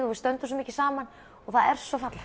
og stöndum svo mikið saman og það er svo fallegt